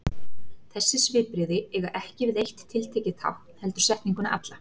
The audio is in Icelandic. Þessi svipbrigði eiga ekki við eitt tiltekið tákn heldur setninguna alla.